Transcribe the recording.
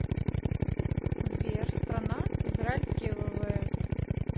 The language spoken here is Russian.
сбер страна израильские ввс